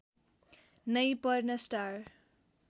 नै पर्न स्टार